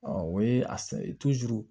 o ye a